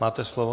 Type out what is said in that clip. Máte slovo.